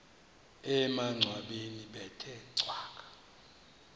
emangcwabeni bethe cwaka